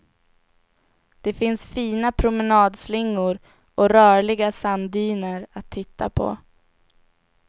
Det finns fina promenadslingor och rörliga sanddyner att titta på.